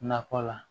Nakɔ la